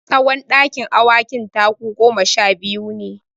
Tsawon dakin awakin taku goma sha biyu ne.